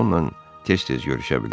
Onunla tez-tez görüşə bilər.